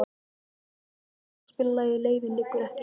Mundína, kanntu að spila lagið „Leiðin liggur ekki heim“?